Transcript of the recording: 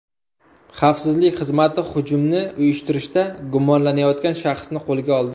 Xavfsizlik xizmati hujumni uyushtirishda gumonlanayotgan shaxsni qo‘lga oldi.